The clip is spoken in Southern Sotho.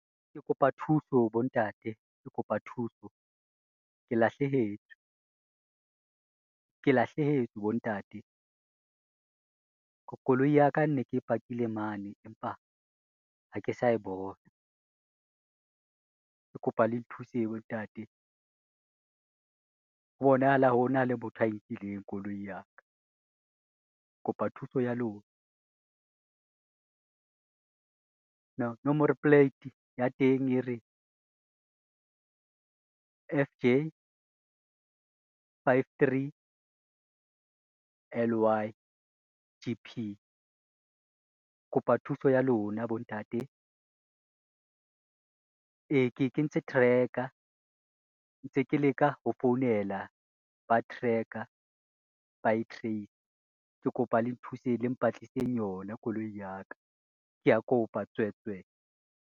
Ke kopa thuso bontate, ke kopa thuso, ke lahlehetswe, ke lahlehetswe bontate, koloi ya ka ne ke e pakile mane empa ha ke sa e bona, ke kopa le thuseng bontate. Ho bonahala ho na le motho a e nkileng koloi ya ka, ke kopa thuso ya lona. Nomoro plate ya teng e re, F J five, three L Y G_P. Kopa thuso ya lona bontate e, ke e kentse tracker ntse ke leka ho founela ba tracker ba e trace-e. Ke kopa le nthuseng le mpatliseng yona koloi ya ka, ke a kopa tswetswe.